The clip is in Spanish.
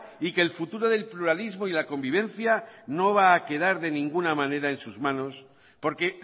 y que el futuro del pluralismo y la convivencia no va a quedar de ninguna manera en sus manos porque